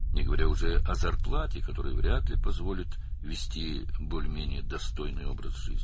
Nisbətən layiqli həyat tərzi sürməyə imkan verəcəyi çətin olan əmək haqqını demirəm.